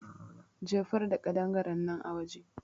Jefar da ƙadangarennan a waje